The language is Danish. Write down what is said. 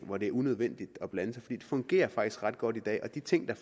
hvor det er unødvendigt at blande sig det fungerer faktisk ret godt i dag og de ting der